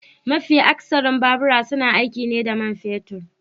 MAfi akasarin babura suna aiki ne da man fetur